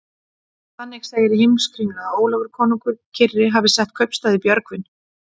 Þannig segir í Heimskringlu að Ólafur konungur kyrri hafi sett kaupstað í Björgvin.